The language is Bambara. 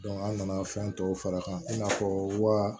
an nana fɛn tɔw fara a kan i n'a fɔ wa